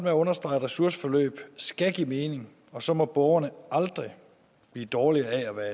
at understrege at ressourceforløb skal give mening og så må borgerne aldrig blive dårligere af at være